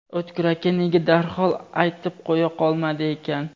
O‘tkir aka nega darhol aytib qo‘ya qolmadi ekan?